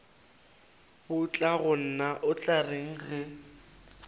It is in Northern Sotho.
batlagonna o tla reng ge